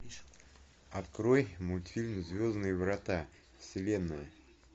открой мультфильм звездные врата вселенная